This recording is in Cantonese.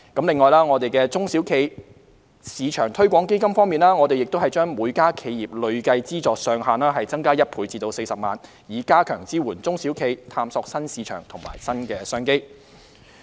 此外，在"中小企業市場推廣基金"方面，我們把每家企業的累計資助上限增加1倍至40萬元，以加強支援中小企探索新市場和新商機。